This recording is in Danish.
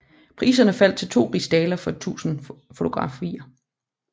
Priserne faldt til to rigsdaler for et dusin fotografier